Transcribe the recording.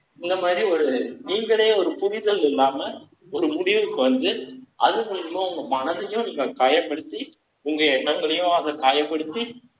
இந்த மாரி, ஒரு நீங்களே, ஒரு புரிதல் இல்லாம, ஒரு முடிவுக்கு வந்து, அது மூலியமா, உங்க மனதையும், நீங்க காயப்படுத்தி, உங்க எண்ணங்களையும் காயப்படுத்தி